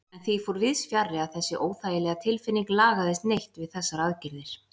En því fór víðsfjarri að þessi óþægilega tilfinning lagaðist neitt við þessar aðgerðir.